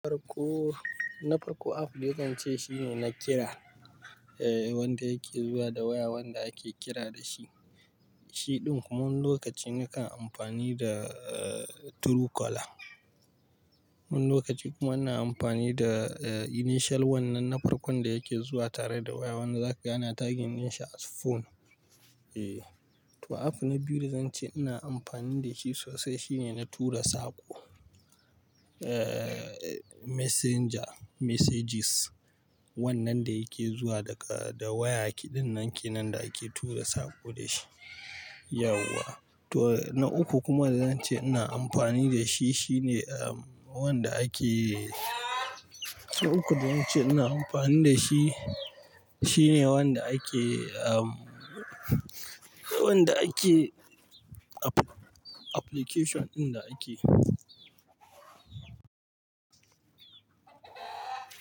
Farko, na farko app ne zan ce shine na kira, eh wanda yake zuwa da waya wanda ake kira da shi. Shi ɗin kuma wani lokaci nakan amfani da Truecaller. Wani lokaci kuma ina amfani da initial wannan na farkon da yake zuwa tare da waya wanda zaka gane tagin din shi a phone. Eh, to app na biyu da zan ce ina amfani da shi sosai shine na tura saƙo. Eh messenger, messages wannan da yake zuwa daga da waya kiɗan nan ke nan da ake tura saƙo da shi. Yawwa, to na uku kuma da zan ce ina amfani da shi shine wanda ake, na uku da zan ce ina amfani da shi shine wanda ake, wanda ake application ɗin da ake.